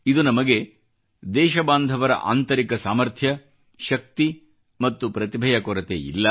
ಇದು ನಮಗೆ ದೇಶ ಬಾಂಧವರ ಆಂತರಿಕ ಸಾಮರ್ಥ್ಯ ಶಕ್ತಿ ಮತ್ತು ಪ್ರತಿಭೆಯ ಕೊರತೆ ಇಲ್ಲ